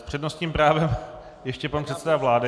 S přednostním právem ještě pan předseda vlády.